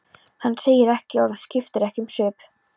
Hann segir ekki orð, skiptir ekki um svip.